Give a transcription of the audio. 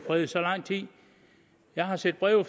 fred i så lang tid jeg har set breve